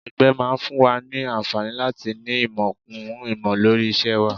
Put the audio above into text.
Ẹgbẹ́ máa ń fún wa ní àǹfààní láti ní ìmọ̀ kún ìmọ̀ lórí iṣẹ́ wa